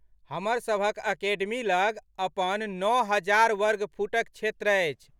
हमरसभक अकेडमी लग अपननओ हजार वर्गफुटक क्षेत्र अछि।